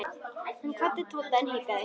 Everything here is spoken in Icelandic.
Hann kvaddi Tóta en hikaði.